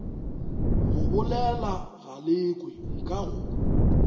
go bolela galekwe nka go